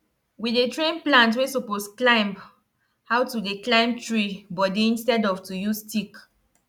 we dey train plant wey suppose climb how to dey climb tree body instead of to use stick